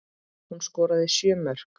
Hún skoraði sjö mörk.